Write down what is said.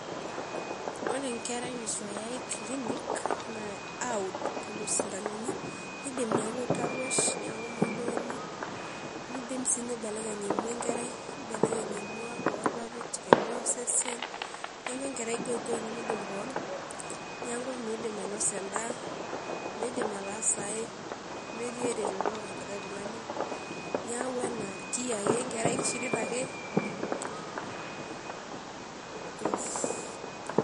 Ore enkerai netu eyai kilinik aaud lelo sintanoni keidim neaku tarwish ,neaku modooni, neidim sii neibelekeny emwa enkerai. Neibelekenye sii emwa oorpapit, emwa osesen neaku enkerai goigoi nemeidim kewon neaku meidim ainosa endaa, meidim ataasa ai metii ereto elikai tungani niaku enadia ake enkerai keishirita ake